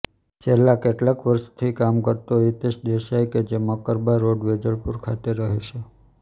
છેલ્લા કેટલાક વર્ષથી કામ કરતો હિતેશ દેસાઈ કે જે મકરબા રોડ વેજલપુર ખાતે રહે છે